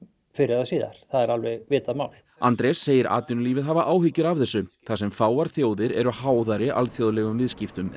fyrr eða síðar það er alveg vitað mál Andrés segir atvinnulífið hafa áhyggjur af þessu þar sem fáar þjóðir eru háðari alþjóðlegum viðskiptum en